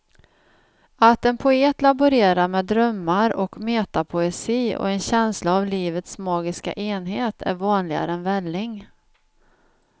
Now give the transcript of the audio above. Att en poet laborerar med drömmar och metapoesi och en känsla av livets magiska enhet är vanligare än välling.